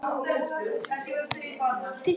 Eyvindarhólum